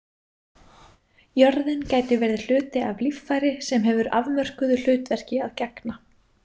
Jörðin gæti verið hluti af líffæri sem hefur afmörkuðu hlutverki að gegna.